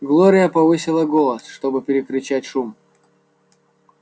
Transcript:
глория повысила голос чтобы перекричать шум